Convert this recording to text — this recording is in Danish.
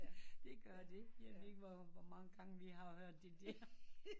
Det gør det jeg ved ikke hvor mange gange vi har hørt det